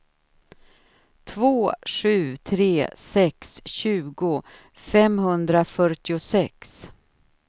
två sju tre sex tjugo femhundrafyrtiosex